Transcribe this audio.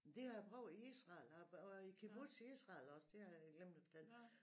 Det har jeg prøvet i Israel har været i kibbutz i Israel også det har jeg glemt at fortælle